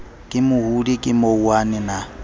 ke mohodi ke mouwane na